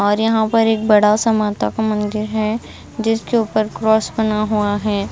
और यहां पर एक बड़ा सा माता का मंदिर है जिसके ऊपर क्रॉस बना हुआ है।